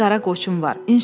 Bir qara qoçum var.